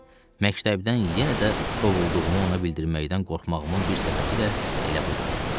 Məktəbdən yenə də qovulduğumu ona bildirməkdən qorxmağımın bir səbəbi də elə budur.